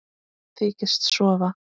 Þykist sofa.